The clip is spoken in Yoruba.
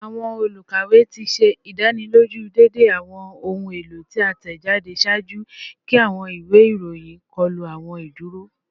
Awọn olukawe ti ṣe idaniloju deede awọn ohun elo ti a tẹjade ṣaaju ki awọn iwe iroyin kọlu awọn iduro